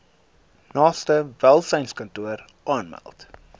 naaste welsynskantoor aanmeld